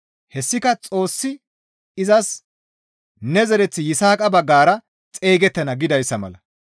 Hessika Xoossi izas «Ne zereththi Yisaaqa baggara xeygettana» gidayssa mala.